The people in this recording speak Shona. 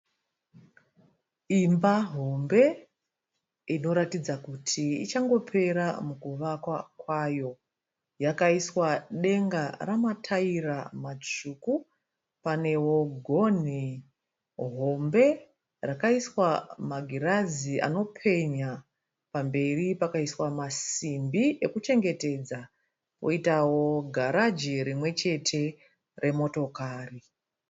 Imba hombe inoratidza kuti ichangopera mukuvakwa kwayo, yakaiswa denga rine mataira matsvuku, panewo gonhi hombe rakaiswa magirazi anopenya pamberi pakaiswa masimbi ekuchengetedza. Poitawo garaji rimwe chete remotokari.